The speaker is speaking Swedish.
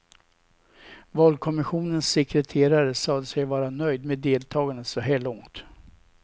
Valkommissionens sekreterare sade sig vara nöjd med deltagandet så här långt.